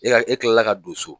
Yala e kilala k'a don so.